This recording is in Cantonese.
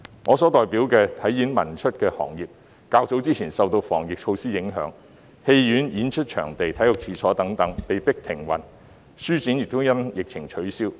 我所代表的"體演文出"行業，在較早前受防疫措施影響，戲院、演出場地和體育處所等被迫停運，書展亦因疫情取消。